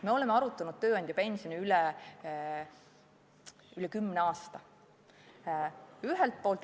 Me oleme tööandjapensioni arutanud juba üle kümne aasta.